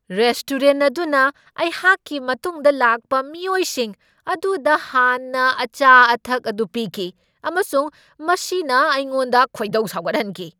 Restaurant ꯑꯗꯨꯅ ꯑꯩꯍꯥꯛꯀꯤ ꯃꯇꯨꯡꯗ ꯂꯥꯛꯄ ꯃꯤꯑꯣꯏꯁꯤꯡ ꯑꯗꯨꯗ ꯍꯥꯟꯅ ꯑꯆꯥ ꯑꯊꯛ ꯑꯗꯨ ꯄꯤꯈꯤ ꯑꯃꯁꯨꯡ ꯃꯁꯤꯅ ꯑꯩꯉꯣꯟꯗ ꯈꯣꯏꯗꯧ ꯁꯥꯎꯒꯠꯍꯟꯈꯤ꯫